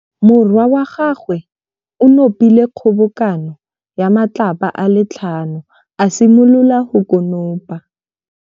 Morwa wa gagwe o nopile kgobokanô ya matlapa a le tlhano, a simolola go konopa.